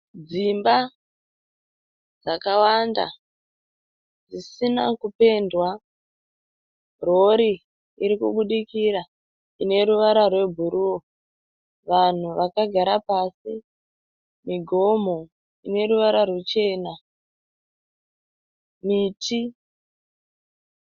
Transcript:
Dzimba dzakawanda dzisina kupendwa. Rori iri kubudikira ine ruvara rwebhuruu. Vanhu vakagara pasi. Migomho ine ruvara ruchena. Miti.